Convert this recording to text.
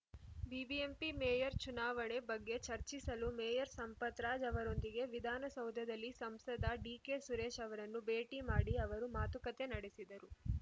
BBMP mayor ಚುನಾವಣೆ ಬಗ್ಗೆ ಚರ್ಚಿಸಲು ಮೇಯರ್‌ ಸಂಪತ್‌ರಾಜ್‌ ಅವರೊಂದಿಗೆ ವಿಧಾನಸೌಧದಲ್ಲಿ ಸಂಸದ ಡಿಕೆಸುರೇಶ್‌ ಅವರನ್ನು ಭೇಟಿ ಮಾಡಿ ಅವರು ಮಾತುಕತೆ ನಡೆಸಿದರು